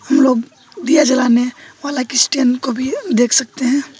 हम लोग दिया जलाने स्टैंड को भी देख सकते हैं।